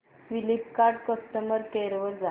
Flipkart customer care वर जा